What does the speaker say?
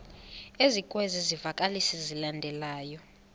ezikwezi zivakalisi zilandelayo